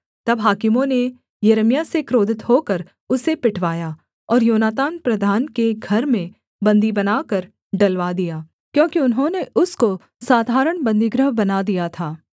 तब हाकिमों ने यिर्मयाह से क्रोधित होकर उसे पिटवाया और योनातान प्रधान के घर में बन्दी बनाकर डलवा दिया क्योंकि उन्होंने उसको साधारण बन्दीगृह बना दिया था